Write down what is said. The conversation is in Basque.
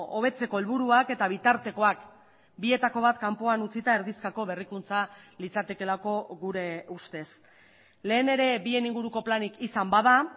hobetzeko helburuak eta bitartekoak bietako bat kanpoan utzita erdizkako berrikuntza litzatekeelako gure ustez lehen ere bien inguruko planik izan bada